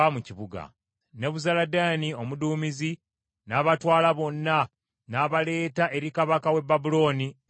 Nebuzaladaani omuduumizi n’abatwala bonna n’abaleeta eri kabaka w’e Babulooni e Libuna.